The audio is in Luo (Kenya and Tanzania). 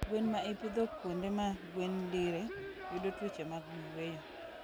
Gwen maipidho kuonde ma gwen dire yudo tuoche mag yweyo